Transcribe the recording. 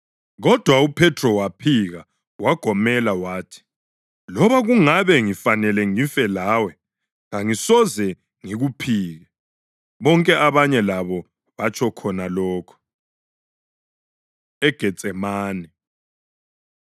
Kodwa uPhethro waphika wagomela wathi, “Loba kungabe ngifanele ngife lawe, kangisoze ngikuphike.” Bonke abanye labo batsho khona lokho. EGetsemane